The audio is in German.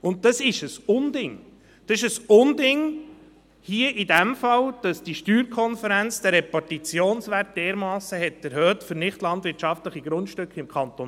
Dies ist ein Unding, ein Unding hier in diesem Fall, dass die SSK den Repartitionswert für nichtlandwirtschaftliche Grundstücke im Kanton